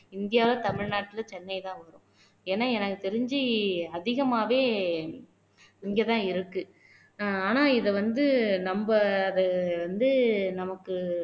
India தமிழ்நாட்டுல சென்னைதான் வரும் ஏன்னா எனக்கு தெரிஞ்சு அதிகமாவே இங்கதான் இருக்கு ஆனா இத வந்து நம்ம அத வந்து நமக்கு